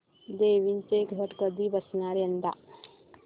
देवींचे घट कधी बसणार यंदा